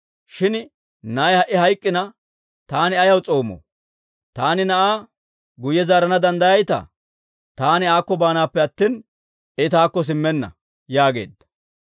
Shin na'ay ha"i hayk'k'ina, taani ayaw s'oomoo? Taani na'aa guyye zaarana danddayayitaa? Taani aakko baanaappe attina, I taakko simmenna» yaageedda.